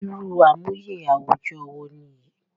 Irú àmúyẹ àwùjọ wo nìyí